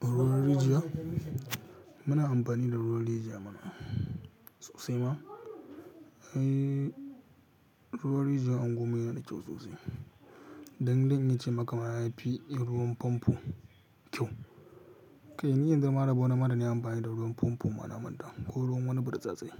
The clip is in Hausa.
Ruwan rijiya? Muna amfani da ruwan rijiya mana sosai ma. Eh, ruwan rijiya anguwan mu yana da kyau sosai. Dan dan in ce maka mana yafi ruwan famfo kyau. Kai ni yanzu mara ba wani ma da ni amfani da ruwan famfo ma na manta ko ruwan wani bartsatsi.